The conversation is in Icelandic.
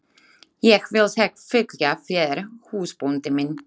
Ég vil helst fylgja þér húsbóndi minn.